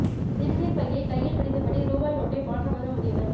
சிறுநீர்ப் பையை கையில் பிடித்தபடி ரூபாய் நோட்டை மாற்ற வந்த முதியவர்